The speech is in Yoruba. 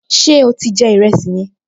Ṣé o ti jẹ ìrẹsì yẹn?